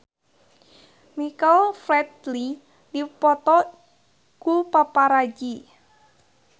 Michael Flatley dipoto ku paparazi